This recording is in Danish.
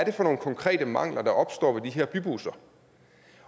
er for nogle konkrete mangler der opstår ved de her bybusser